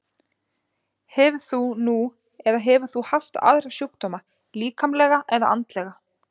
Hefur þú nú eða hefur þú haft aðra sjúkdóma, líkamlega eða andlega?